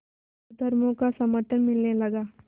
और धर्मों का समर्थन मिलने लगा